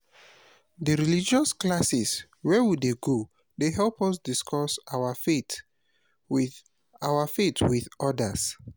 di religious classes wey we dey go dey help us discuss our faith wit our faith wit odas.